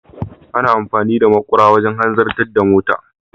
Ana amfani da makura wajen hanzarta da mota.